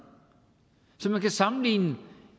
så man kan sammenligne